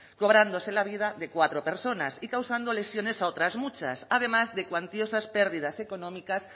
cobrándose la vida de cuatro personas y causando lesiones a otras muchas además de cuantiosas pérdidas económicas